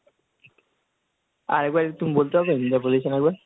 আরেকবার তুমি বলতে পারবে যা বলেছেন একবার?